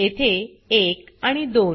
येथे 1 आणि 2